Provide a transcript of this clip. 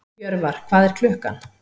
Jörvar, hvað er klukkan?